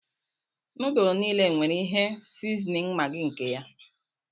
Núdulú niile nwere ihe sizinin Maggi nke ya